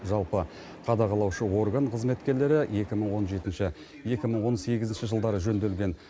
жалпы қадағалаушы орган қызметкерлері екі мың он жетінші екі мың он сегізінші жылдары жөнделген